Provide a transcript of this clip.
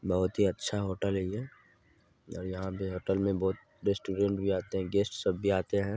बहुत अच्छा ही होटल है ये और यहाँ पे होटल मे गेस्ट सब भी आते है।